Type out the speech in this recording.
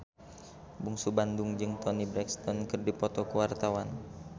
Bungsu Bandung jeung Toni Brexton keur dipoto ku wartawan